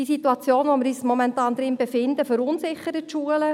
Die Situation, in der wir uns momentan befinden, verunsichert die Schulen.